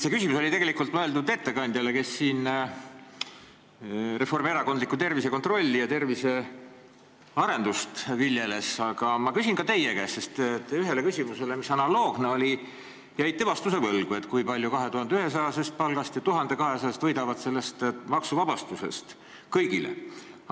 See küsimus oli tegelikult mõeldud ettekandjale, kes siin reformierakondlikku tervisekontrolli ja tervisearendust viljeles, aga ma küsin ka teie käest, sest te ühele analoogsele küsimusele jäite vastuse võlgu, see oli see, kui palju 2100-eurose palga saajad ja 1200-eurose palga saajad võidavad sellest maksuvabastusest kõigile.